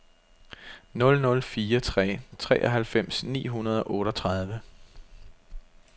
nul nul fire tre treoghalvfems ni hundrede og otteogtredive